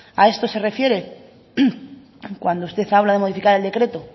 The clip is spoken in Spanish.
a esto se refiere cuando usted habla de modificar el decreto